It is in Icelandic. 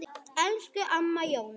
Elsku Amma Jóna.